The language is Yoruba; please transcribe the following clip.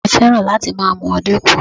Bàbá mi fẹ́ràn láti máa mu ọdẹ́kù